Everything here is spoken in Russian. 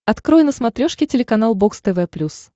открой на смотрешке телеканал бокс тв плюс